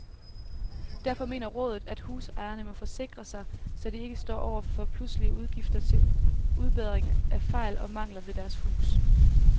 Derfor mener rådet, at husejerne må forsikre sig, så de ikke står over for pludselige udgifter til udbedring af fejl og mangler ved deres hus.